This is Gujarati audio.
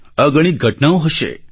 અગણિત ઘટનાઓ હશે